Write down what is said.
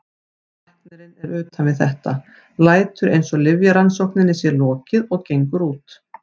Læknirinn er utan við þetta, lætur eins og lyfjarannsókninni sé lokið og gengur út.